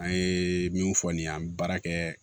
An ye min fɔ nin ye an bi baara kɛ